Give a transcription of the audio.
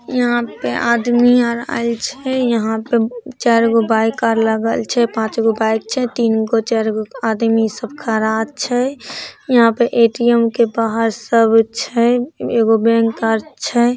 यहाँ पे आदमी आ आइल छै यहाँ पे चारगो बाइक और लागल छै पांचगो बाइक छै तीनगो-चारगो आदमी सब खाड़ा छै यहाँ पे ए.टी.एम. के बाहर सब छै एगो छै।